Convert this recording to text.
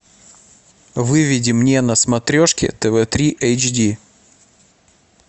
выведи мне на смотрешке тв три эйч ди